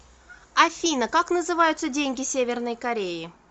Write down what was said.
афина как называются деньги северной кореи